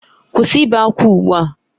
Kwụsị ibe ákwá ugbu a!